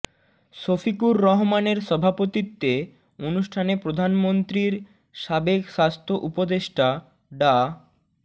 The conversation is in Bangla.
শফিকুর রহমানের সভাপতিত্বে অনুষ্ঠানে প্রধানমন্ত্রীর সাবেক স্বাস্থ্য উপদেষ্টা ডা